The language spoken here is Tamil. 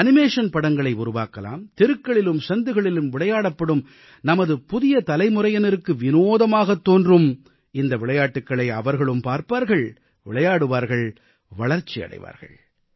அனிமேஷன் படங்களை உருவாக்கலாம் தெருக்களிலும் சந்துகளிலும் விளையாடப்படும் நமது புதியதலைமுறையினருக்கு விநோதமாகத் தோன்றும் இந்த விளையாட்டுகளை அவர்களும் பார்ப்பார்கள் விளையாடுவார்கள் வளர்ச்சியடைவார்கள்